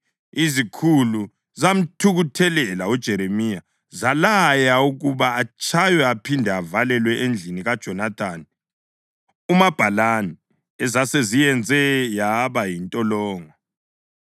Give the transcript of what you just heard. Izikhulu zamthukuthelela uJeremiya zalaya ukuba atshaywe aphinde avalelwe endlini kaJonathani umabhalani, ezaseziyenze yaba yintolongo.